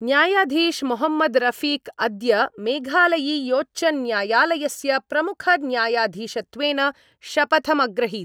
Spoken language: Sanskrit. न्यायाधीश मोहम्मद रफिक अद्य मेघालयीयोच्चन्यायालयस्य प्रमुखन्यायाधीशत्वेन शपथमग्रहीत्।